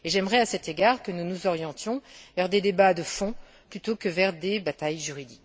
J'aimerais, à cet égard, que nous nous orientions vers des débats de fond plutôt que vers des batailles juridiques.